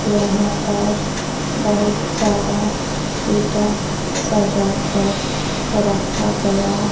यहां पर बहोत सारा ईंटा सजा कर रखा गया--